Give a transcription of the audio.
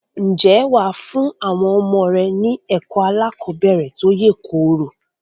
Ǹjẹ́ wà á fún àwọn ọmọ rẹ ní ẹ̀kọ́ aláàkọ́bẹ̀rẹ̀ tó yèkoro?